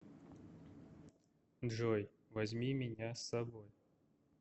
джой возьми меня с собой